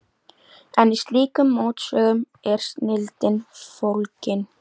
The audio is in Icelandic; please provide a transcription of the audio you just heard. En í slíkum mótsögnum er snilldin fólgin.